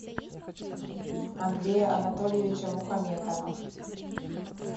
андрея анатольевича мухаметова